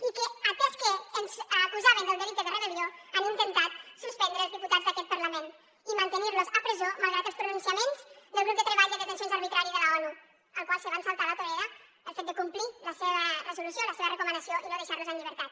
i que atès que ens acusaven del delicte de rebel·lió han intentat suspendre els diputats d’aquest parlament i mantenir los a presó malgrat els pronunciaments del grup de treball de detencions arbitràries de l’onu el qual es van saltar a la torera pel fet de complir la seva resolució la seva recomanació i no deixar los en llibertat